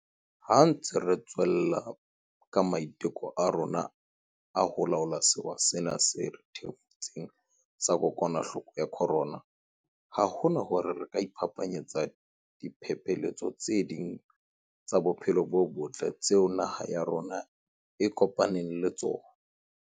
Ha re ntse retswella ka ma-iteko a rona a ho laola sewa sena se re thefutseng sa kokwanahloko ya corona, ha hona hore re ka iphapanyetsa diphephetso tse ding tsa bophelo bo botle tseo naha ya rona e kopanang le tsona.